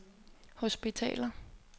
hospitaler